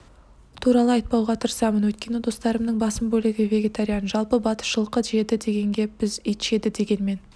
туралы айтпауға тырысамын өйткені достарымның басым бөлігі вегетариан жалпы батыс жылқы жеді дегенге біз ит жеді дегенмен